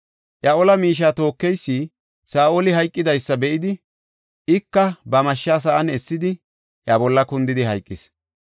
Iya ola miishiya tookeysi Saa7oli hayqidaysa be7idi, ika ba mashsha sa7an essidi iya bolla kundidi hayqis.